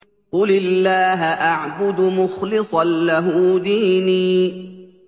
قُلِ اللَّهَ أَعْبُدُ مُخْلِصًا لَّهُ دِينِي